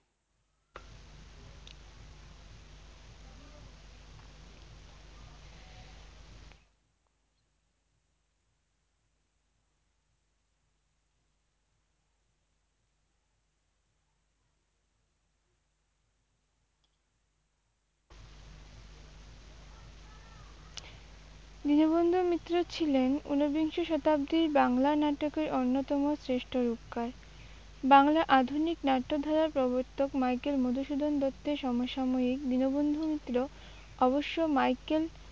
দীনবন্ধু মিত্র ছিলেন উনবিংশ শতাব্দীর বাংলা নাটকের অন্যতম শ্রেষ্ঠ রূপকার। বাংলার আধুনিক নাট্যধারার প্রবর্তক মাইকেল মধুসূদন দত্তের সমসাময়িক দীনবন্ধু মিত্র অবশ্য মাইকেল